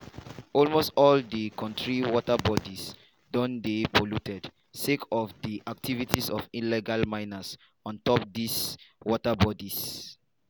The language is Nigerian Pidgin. almost all di kontri water bodies don dey polluted sake of di activities of illegal miners on top dis water bodies.